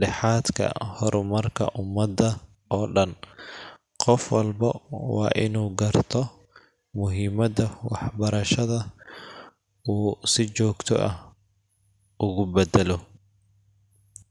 dhexaadka horumarka ummadda oo dhan. Qof walbo waa inuu garto muhiimadda waxbarashada oo uu si joogto ah ugu baddalo.